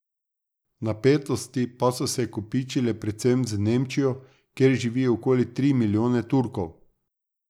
Napetosti pa so se kopičile predvsem z Nemčijo, kjer živi okoli tri milijone Turkov.